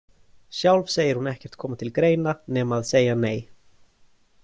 Sjálf segir hún ekkert koma til greina nema að segja nei.